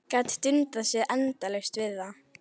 Gat dundað sér endalaust við það.